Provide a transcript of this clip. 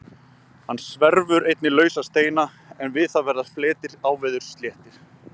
Hann sverfur einnig lausa steina en við það verða fletir áveðurs sléttir.